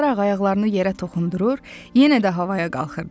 Qara ayaqlarını yerə toxundurur, yenə də havaya qalxırdı.